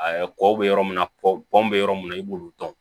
kɔ bɛ yɔrɔ min na kɔ bɔn bɛ yɔrɔ min na i b'olu dɔn